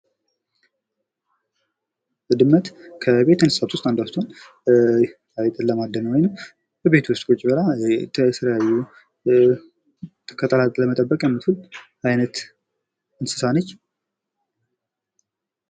ድመት ከቤት እንስሳት ውስጥ አንዷ ስትሆን አይጥን ለማደን ወይንም በቤት ውስጥ ቁጭ ብላ የተለያዩ ተክላትን ለመጠበቅ የምትውል አይነት እንስሳ ነች።